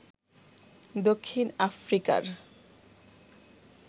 দক্ষিণ আফ্রিকার